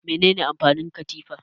Mene ne amfanin katifa?